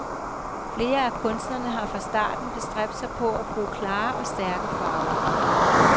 Flere af kunstnerne har fra starten bestræbt sig på at bruge klare og stærke farver.